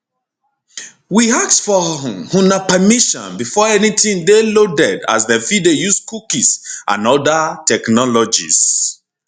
we ask for um una permission before anytin dey loaded as dem fit dey use cookies and oda technologies